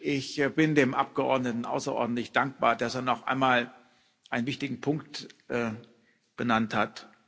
Ich bin dem Abgeordneten außerordentlich dankbar, dass er noch einmal einen wichtigen Punkt genannt hat.